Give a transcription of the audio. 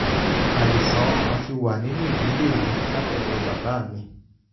àìsàn ọkàn ti wà nínú ìdílé mi látọ̀dọ̀ bàbá mi